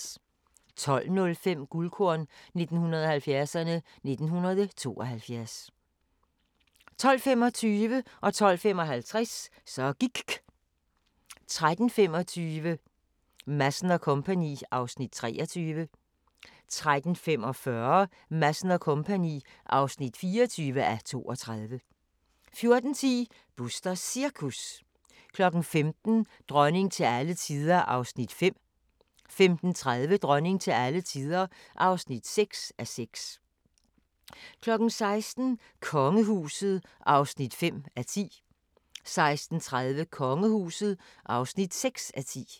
12:05: Guldkorn 1970'erne: 1972 12:25: Så gIKK 12:55: Så gIKK 13:25: Madsen & Co. (23:32) 13:45: Madsen & Co. (24:32) 14:10: Busters Cirkus 15:00: Dronning til alle tider (5:6) 15:30: Dronning til alle tider (6:6) 16:00: Kongehuset (5:10) 16:30: Kongehuset (6:10)